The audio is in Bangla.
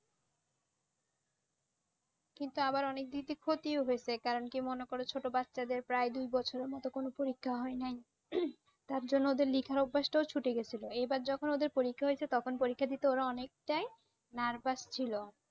কিন্তু আবার অনেক দিক দিয়ে ক্ষতি ও হয়েছে কারণ কি মনে করো ছোট বাচ্ছাদের প্রায় দু বছর মতো কোনও পরীক্ষা হয় নাই টার জন্যে ওদের লিখার অভ্যাস টা ও ছুটে গেছে। এবার যখন ওদের পরীক্ষা হয়েছে তখন পরীক্ষা দিতে ওরা অনেকটাই nervous ছিল।